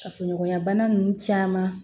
Kafoɲɔgɔnya bana ninnu caman